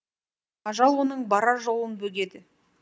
ажал оның барар жолын бөгеді